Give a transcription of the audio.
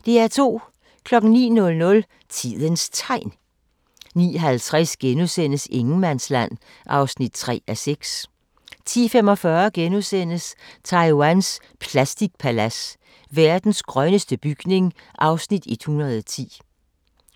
09:00: Tidens Tegn 09:50: Ingenmandsland (3:6)* 10:45: Taiwans plastikpalads: Verdens grønneste bygning (Afs. 110)*